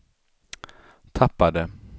tappade